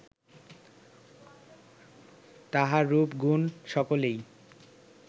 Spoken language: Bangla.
তাঁহার রূপ, গুণ, সকলই